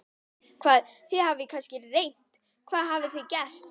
Hvað, þið hafið kannski reynt, hvað hafið þið gert?